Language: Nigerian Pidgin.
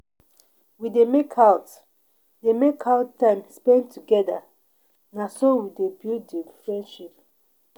We dey make out dey make out time spend togeda, na so we dey build di friendship.